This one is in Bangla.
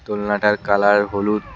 দোলনাটার কালার হলুদ।